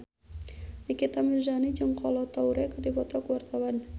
Nikita Mirzani jeung Kolo Taure keur dipoto ku wartawan